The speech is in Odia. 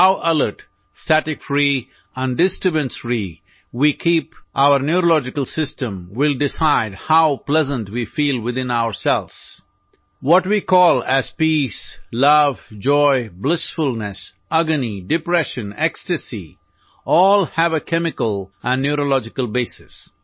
how alert static free and disturbance free we keep neurological system will decide how pleasant we feel within ourselves what we call as peace love joy blissfulness agony depression ecstasies all have a chemical and neurological basis